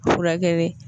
Furakɛ